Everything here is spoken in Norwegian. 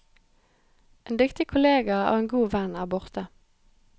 En dyktig kollega og en god venn er borte.